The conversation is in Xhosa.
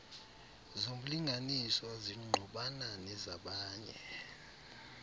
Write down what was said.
zomlinganiswa zingqubana nezabanye